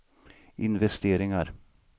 investeringar